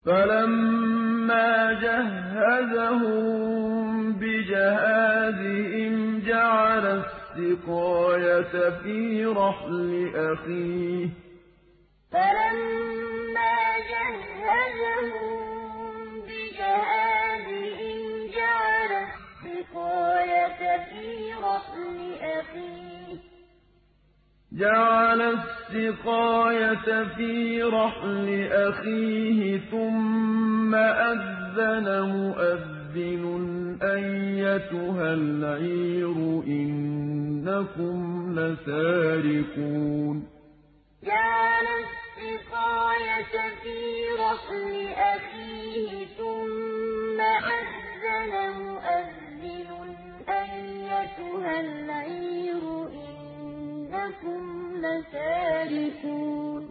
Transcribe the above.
فَلَمَّا جَهَّزَهُم بِجَهَازِهِمْ جَعَلَ السِّقَايَةَ فِي رَحْلِ أَخِيهِ ثُمَّ أَذَّنَ مُؤَذِّنٌ أَيَّتُهَا الْعِيرُ إِنَّكُمْ لَسَارِقُونَ فَلَمَّا جَهَّزَهُم بِجَهَازِهِمْ جَعَلَ السِّقَايَةَ فِي رَحْلِ أَخِيهِ ثُمَّ أَذَّنَ مُؤَذِّنٌ أَيَّتُهَا الْعِيرُ إِنَّكُمْ لَسَارِقُونَ